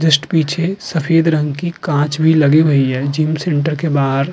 Just पीछे सफेद रंग की कांच भी लगी हुई है। जिम सेंटर के बाहर --